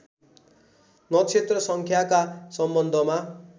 नक्षत्र सङ्ख्याका सम्बन्धमा